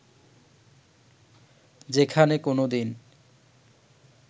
যেখানে কোনোদিন